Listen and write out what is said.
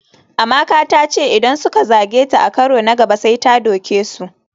Amaka ta ce idan suka zage ta a karo na gaba sai ta doke su.